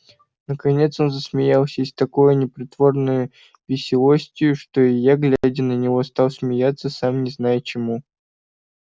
наконец он засмеялся и с такою непритворной веселостию что и я глядя на него стал смеяться сам не зная чему